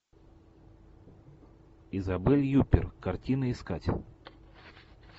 изабель юппер картины искать